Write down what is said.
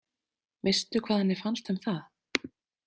Veistu hvað henni fannst um það?